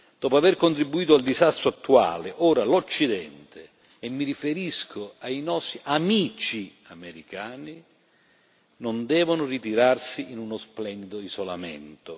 Dopo aver contribuito al disastro attuale, ora l'Occidente e mi riferisco ai nostri amici americani non deve ritirarsi in uno splendido isolamento.